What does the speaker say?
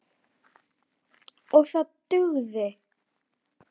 OG ÞAÐ DUGÐI.